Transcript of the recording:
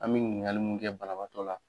An bɛ ɲininkali mun kɛ banabagatɔ la.